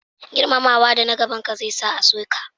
Girmamawa da na gaban ka zai sa a so ki